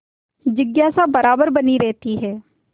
जिज्ञासा बराबर बनी रहती है